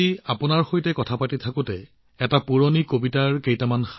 আপোনালোকৰ সৈতে কথা পাতি থকাৰ সময়তে মোৰ এটা পুৰণি কবিতা মনত পৰিছে